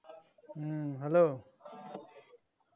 hello